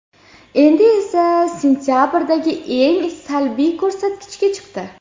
Endi esa sentabrdagi eng salbiy ko‘rsatkichga chiqdi.